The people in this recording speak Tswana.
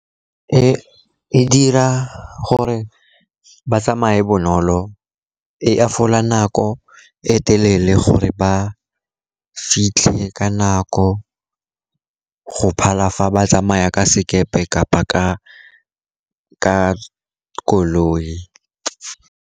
E dira gore ba tsamaye bonolo, e hafola nako e e telele gore ba fitlhe ka nako go phala fa ba tsamaya ka sekepe kapa ka koloi.